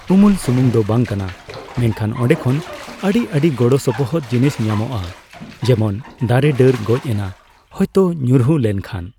ᱩᱢᱩᱞ ᱥᱩᱢᱩᱝ ᱫᱚ ᱵᱟᱝ ᱠᱟᱱᱟ ᱢᱮᱱᱠᱷᱟᱱ ᱚᱱᱰᱮ ᱠᱷᱚᱱ ᱟᱹᱰᱤ ᱟᱹᱰᱤ ᱜᱚᱲᱚᱥᱚᱯᱚᱦᱚᱫ ᱡᱤᱱᱤᱥ ᱧᱟᱢᱚᱜᱼᱟ ᱡᱮᱢᱚᱱ ᱫᱟᱨᱮ ᱰᱟᱹᱨ ᱜᱚᱡ ᱮᱱᱟ ᱦᱚᱭᱛᱳ ᱧᱩᱨᱦᱩ ᱞᱮᱱᱠᱷᱟᱱ